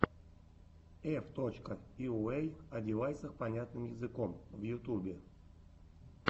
эф точка йуэй одевайсах понятным языком в ютубе